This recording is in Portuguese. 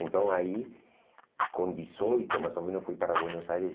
Então, aí, com dezoito, mais ou menos, fui para Buenos Aires.